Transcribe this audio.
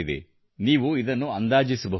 ನೀವು ಅದನ್ನು ಅಂದಾಜಿಸಬಹುದು